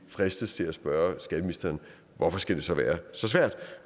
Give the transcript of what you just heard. fristes til at spørge skatteministeren hvorfor skal det så være så svært